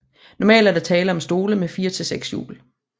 Normalt er der tale om stole med 4 til 6 hjul